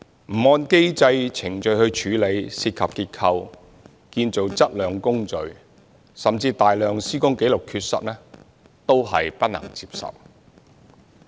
不按機制程序處理涉及結構、建造質量的工序，甚至大量施工紀錄的缺失，都是不能接受的。